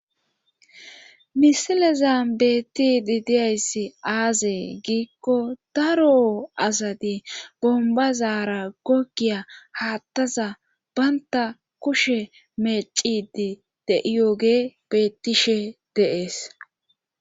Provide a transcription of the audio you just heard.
misileza bettidi diyayssi aazee giikko daro asati bombazaara gogiya haattaza baynta kushe mecidi de'iyoge bettishe de'ees